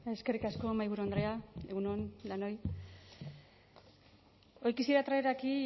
eskerrik asko mahaiburu andrea egun on danoi hoy quisiera traer aquí